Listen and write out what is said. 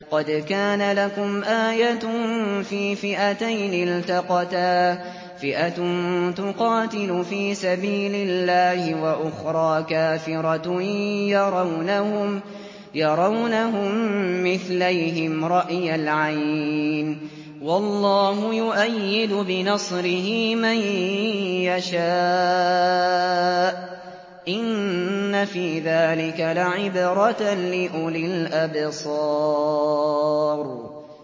قَدْ كَانَ لَكُمْ آيَةٌ فِي فِئَتَيْنِ الْتَقَتَا ۖ فِئَةٌ تُقَاتِلُ فِي سَبِيلِ اللَّهِ وَأُخْرَىٰ كَافِرَةٌ يَرَوْنَهُم مِّثْلَيْهِمْ رَأْيَ الْعَيْنِ ۚ وَاللَّهُ يُؤَيِّدُ بِنَصْرِهِ مَن يَشَاءُ ۗ إِنَّ فِي ذَٰلِكَ لَعِبْرَةً لِّأُولِي الْأَبْصَارِ